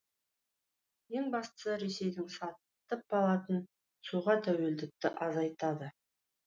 ең бастысы ресейден сатып алатын суға тәуелділікті азайтады